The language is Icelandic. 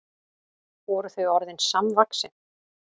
Voru þau orðin samvaxin?